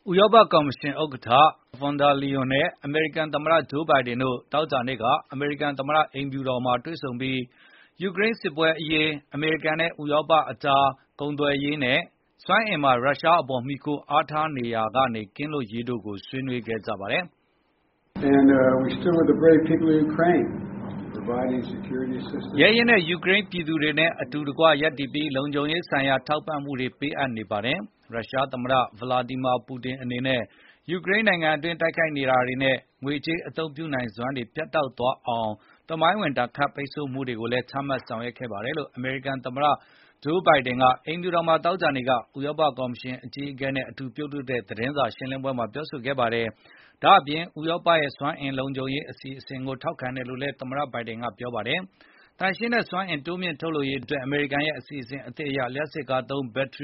ဥရောပ ကော်မရှင် ဥက္ကဌ Ursula von der Leyen နဲ့ အမေရိကန် သမ္မတ Joe Biden တို့ သောကြာနေ့က အမေရိကန် သမ္မတ အိမ်ဖြူတော်မှာ တွေ့ဆုံပြီး ယူကရိန်း စစ်ပွဲ အရေး၊ အမေရိကန်နဲ့ ဥရောပ သမဂ္ဂ EU ကြား ကုန်သွယ်ရေးနဲ့ စွမ်းအင် အရေး ရုရှားထံ မှီခိုရမှုကနေ လွတ်ကင်းရေး တို့ကို ဆွေးနွေးကြပါတယ်။ “ရဲရင့်တဲ့ ယူကရိန်း ပြည်သူတို့နဲ့ အတူတကွ ရပ်တည်ပြီး လုံခြုံရေး ဆိုင်ရာ ထောက်ပံ့မှုတွေ ပေးအပ်နေကြောင်း၊ ရုရှား သမ္မတ Vladimir Putin အနေနဲ့ ယူကရိန်း နိုင်ငံတွင်း တိုက်ခိုက်ရေးနဲ့ ငွေကြေး အသုံးပြုနိုင်စွမ်းကို ပြတ်တောက်သွားစေတဲ့ သမိုင်းဝင် ဒဏ်ခတ်ပိတ်ဆို့မှုတွေကိုလည်း ချမှတ်ဆောင်ရွက်နေကြောင်း အမေရိကန် သမ္မတ Biden က ပြောဆိုခဲ့တာပါ။” အမေရိကန် သမ္မတ အိမ်ဖြူတော်မှာ သောကြာနေ့က ဥရောပ ကော်မရှင် အကြီးအကဲနဲ့ အတူ သတင်းထောက်တွေကို အခုလို ပြောဆိုတာ ဖြစ်ပါတယ်။ ဒါ့အပြင် ဥရောပရဲ့ စွမ်းအင် လုံခြုံရေး အတွက်လည်း ထောက်ခံကြောင်း အမေရိကန် သမ္မတက ပြောဆိုခဲ့ပါတယ်။ သန့်စင်စွမ်းအင်ဆိုင်ရာ မြှင့်တင်ရေး အမေရိကန်ရဲ့ အစီအစဉ်သစ် အရ လျှပ်စစ်ကားသုံး ဘက်ထ